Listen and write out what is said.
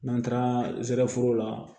N'an taara zɛrɛforo la